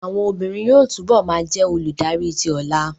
Àwọn obìnrin yóò túbọ̀ ma jẹ́ olùdarí tí ọlà